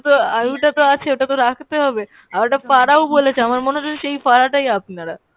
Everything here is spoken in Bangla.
আয়ুটা তো আছে ওটা তো রাখতে হবে। আর একটা ফাঁড়া ও বলেছে আমার মনে হচ্ছে সেই ফাঁড়াটাই আপনারা।